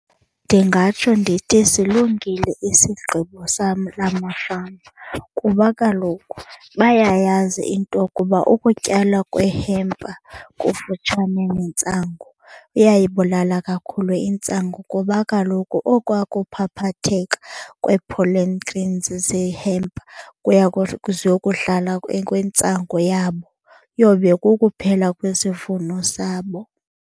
Ndingatsho ndithi silungile isigqibo la mafama kuba kaloku bayayazi into yokuba ukutyalwa kwehempa kufutshane nentsangu kuyayibulala kakhulu intsangu. Kuba kaloku okwa kuphaphatheka kwee-pollen grains zehempa ziyokuhlala kwintsangu yabo iyobe kukuphela kwesivuno sabo.